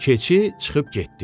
Keçi çıxıb getdi.